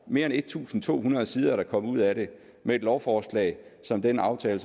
mere end en tusind to hundrede sider er der kommet ud af det med et lovforslag som den aftale